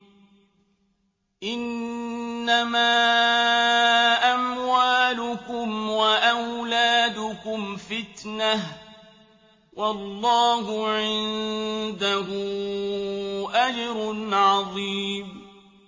إِنَّمَا أَمْوَالُكُمْ وَأَوْلَادُكُمْ فِتْنَةٌ ۚ وَاللَّهُ عِندَهُ أَجْرٌ عَظِيمٌ